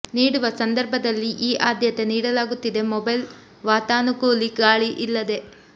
ನೀಡುವ ಸಂದರ್ಭದಲ್ಲಿ ಈ ಆಧ್ಯತೆ ನೀಡಲಾಗುತ್ತಿದೆ ಮೊಬೈಲ್ ವಾತಾನುಕೂಲಿ ಗಾಳಿ ಇಲ್ಲದೆ